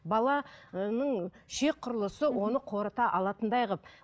бала ы ішек құрылысы оны қорыта алатындай қылып